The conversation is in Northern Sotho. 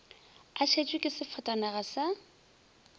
a šetšwe ke sefatanaga sa